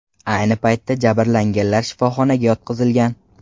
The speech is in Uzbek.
Ayni paytda jabrlanganlar shifoxonaga yotqizilgan.